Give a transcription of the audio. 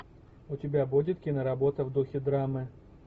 у тебя будет киноработа в духе драмы